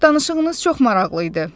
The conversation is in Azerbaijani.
Danışığınız çox maraqlı idi.